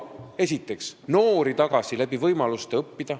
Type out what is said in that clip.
Esiteks, noori saab tagasi tuua õppimisvõimaluste abil.